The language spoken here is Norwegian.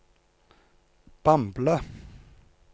Bamble